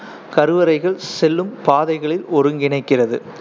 கருவறைக்கு செல்லும் பாதைகளை ஒருங்கிணைக்கிறது